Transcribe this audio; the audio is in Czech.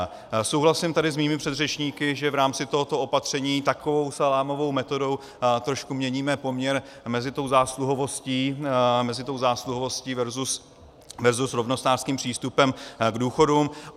Souhlasím tady se svými předřečníky, že v rámci tohoto opatření takovou salámovou metodou trošku měníme poměr mezi zásluhovostí versus rovnostářským přístupem k důchodům.